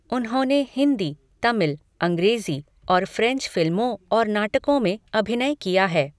उन्होंने हिंदी, तमिल, अंग्रेजी और फ्रेंच फिल्मों और नाटकों में अभिनय किया है।